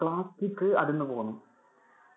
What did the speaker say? plastic അടര്‍ന്നു പോന്നു.